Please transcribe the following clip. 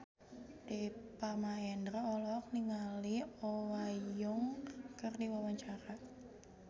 Deva Mahendra olohok ningali Oh Ha Young keur diwawancara